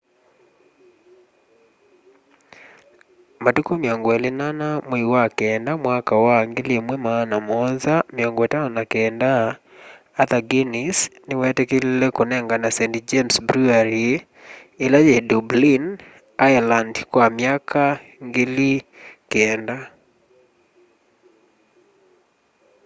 matuku 24 mwai wa kenda mwaka wa 1759 arthur guinness niweetikilile kũnengana st james brewery ila yi dublin ireland kwa myaka 9,000